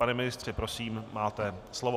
Pane ministře prosím, máte slovo.